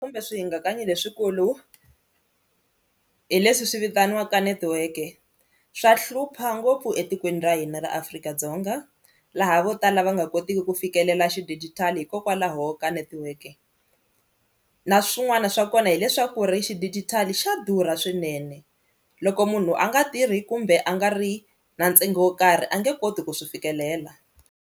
Kumbe swi hingakanyi leswikulu hi leswi swi vitaniwaka netiweke swa hlupha ngopfu etikweni ra hina ra Afrika-Dzonga, laha vo tala va nga kotiki ku fikelela xidijitali hikokwalaho laha ka netiweke na swin'wana swa kona hileswaku ri xidigitali xa durha swinene loko munhu a nga tirhi kumbe a nga ri na ntsengo wo karhi a nge koti ku swi fikelela.